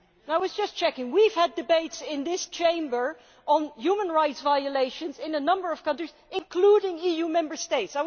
I was just checking we have had debates in this Chamber on human rights violations in a number of countries, including EU Member States.